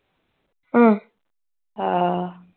ਹਮ ਹਾਂ